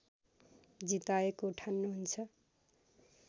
जिताएको ठान्नुहुन्छ